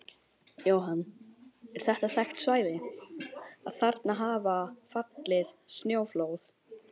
Jóhann: Er þetta þekkt svæði, að þarna hafa fallið snjóflóð?